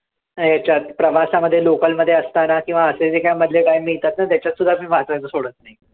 याच्यात, प्रवासामध्ये local मध्ये असताना किंवा असे जे काही मधले काही मिळतात ना त्याच्यात सुद्धा मी वाचायचं सोडत नाही.